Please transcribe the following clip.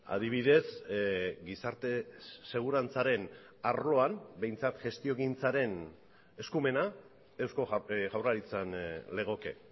adibidez gizarte segurantzaren arloan behintzat gestiogintzaren eskumena eusko jaurlaritzan legoke